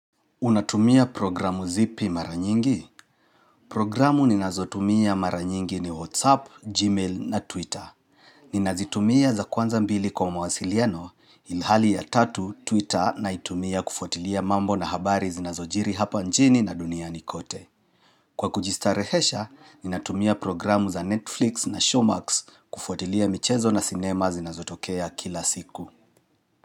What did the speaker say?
Unatumia programu zipi mara nyingi? Programu ninazotumia maranyingi ni WhatsApp, Gmail na Twitter. Ninazitumia za kwanza mbili kwa mawasiliano ilhali ya tatu Twitter naitumia kufwatilia mambo na habari zinazojiri hapa nchini na duniani nikote. Kwa kujistarehesha, ninatumia programu za Netflix na Showmax kufuatilia michezo na sinema zinazotokea kila siku.